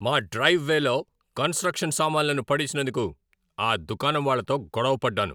మా డ్రైవ్ వేలో కన్స్ట్రక్షన్ సామాన్లను పడేసినందుకు ఆ దుకాణం వాళ్లతో గొడవ పడ్డాను.